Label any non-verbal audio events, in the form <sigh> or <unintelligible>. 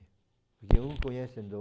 <unintelligible> conhece <unintelligible>